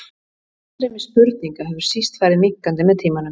Aðstreymi spurninga hefur síst farið minnkandi með tímanum.